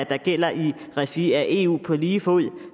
der gælder i regi af eu på lige fod